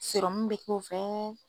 bE k4o fɛ.